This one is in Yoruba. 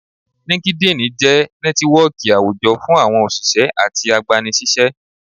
LinkedIn jẹ nẹtiwọọki awújọ fún àwọn oṣiṣẹ atí agbánisiṣẹ.